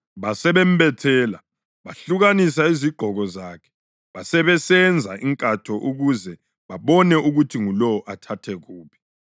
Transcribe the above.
Basebembethela. Bahlukanisa izigqoko zakhe basebesenza inkatho ukuze babone ukuthi ngulowo athathe kuphi.